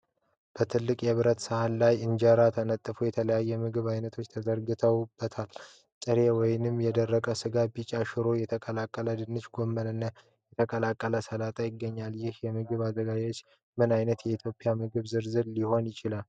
በትልቁ የብረት ሳህን ላይ ኢንጀራ ተነጥፎ የተለያዩ የምግብ አይነቶች ተዘርግተውበታል። ጥሬ ወይም የደረቀ ስጋ፣ ቢጫ ሽሮ፣ የተቀቀለ ድንች፣ ጎመን እና የተቀላቀለ ሰላጣ ይገኛሉ። ይህ የምግብ አዘገጃጀት ምን አይነት የኢትዮጵያ ምግብ ዝርዝር ሊባል ይችላል?